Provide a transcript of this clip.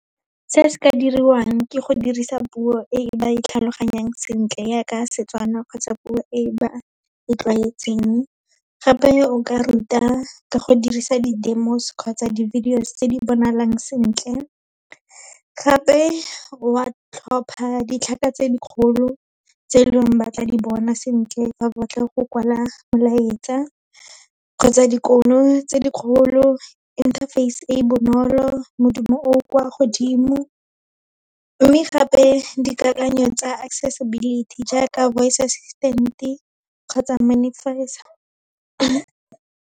Se se ka diriwang, ke go dirisa puo e ba e tlhaloganyang sentle, yaaka Setswana kgotsa puo e ba e tlwaetseng. Gape o ka ruta, ka go dirisa di-demos kgotsa di-videos tse di bonalang sentle. Gape wa tlhopha ditlhaka tse dikgolo, tse e leng ba tla di bona sentle, fa ba batla go kwala molaetsa kgotsa tse dikgolo, inter-face e bonolo, modumo o o kwa godimo. Mme gape dikakanyo tsa accessibility jaaka voice assistant-e kgotsa .